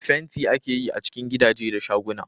Fenti ake yi a cikin gidaje da shaguna